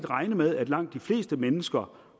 regne med at langt de fleste mennesker